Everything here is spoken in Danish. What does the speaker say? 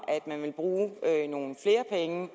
at man vil bruge nogle flere penge